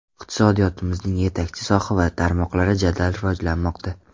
Iqtisodiyotimizning yetakchi soha va tarmoqlari jadal rivojlanmoqda.